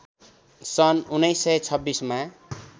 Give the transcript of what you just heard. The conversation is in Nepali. सन् १९२६ मा